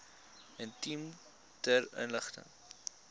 item ter inligting